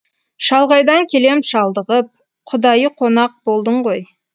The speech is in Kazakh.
шалғайдан келем шалдығып құдайы қонақ болдың ғой